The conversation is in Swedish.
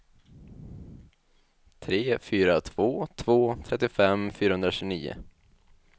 tre fyra två två trettiofem fyrahundratjugonio